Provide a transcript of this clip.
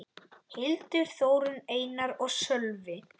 Hildur, Þórunn, Einar og Sölvi.